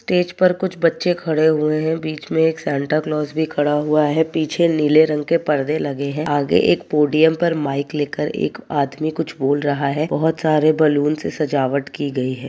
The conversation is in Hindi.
स्टेज पर कुछ बच्चे खड़े हुए हैं। बीच मैं एक सैंटा क्लोज भी खड़ा हुआ है। पीछे नीले रंग के पर्दे लगे हैं। आगे एक पोडियम पर माइक लेकर एक आदमी कुछ बोल रहा है। बहोत सारे बलून से सजावट की गयी हैं।